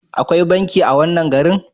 Akwai banki a wannan garin?